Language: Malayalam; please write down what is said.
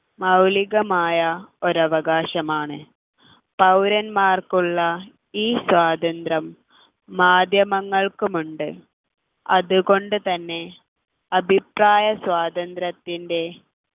മൗലികമായ ഒരു അവകാശമാണ് പൗരന്മാർക്കുള്ള ഈ സ്വാതന്ത്ര്യം മാധ്യമങ്ങൾക്കും ഉണ്ട് അതുകൊണ്ടുതന്നെ അഭിപ്രായം സ്വാതന്ത്ര്യത്തിൻ്റെ